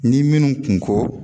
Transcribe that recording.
Ni minnu kunko